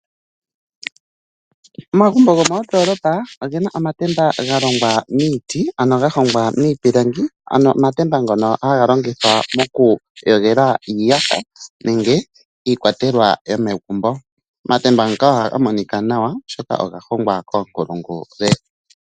Omagumbo gomendolopa ogena omatemba galongwa miti ano ga hongwa miipilangi ano omatemba ngono haga longithwa moku yogela iiyaha nenge iikwatelwa yomegumbo, omatemba ngaka ohaga monika nawa oshoka oga hongwa koonkulungu .